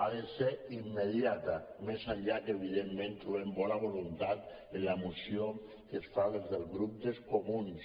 ha de ser immediata més enllà que evidentment trobem bona voluntat en la moció que es fa des del grup dels comuns